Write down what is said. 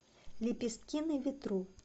лепестки на ветру